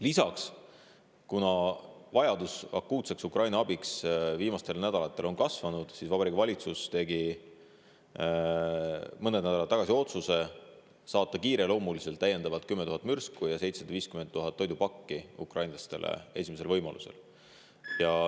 Lisaks, kuna vajadus akuutseks Ukraina abiks on viimastel nädalatel kasvanud, tegi Vabariigi Valitsus mõned nädalad tagasi otsuse saata kiireloomuliselt veel 10 000 mürsku ja 750 000 toidupakki ukrainlastele esimesel võimalusel.